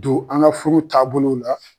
don an ka furu taabolow la.